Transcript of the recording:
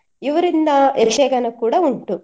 ಇವರಿಂದ ಯಕ್ಷಗಾನ ಕೂಡ ಉಂಟು.